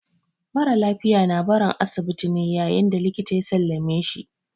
Mara lafiya na barin asibiti ne yayin da likita ya sallame shi.